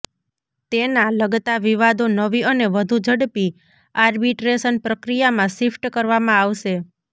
તેના લગતા વિવાદો નવી અને વધુ ઝડપી આર્બિટ્રેશન પ્રક્રિયામાં શિફ્ટ કરવામાં આવશે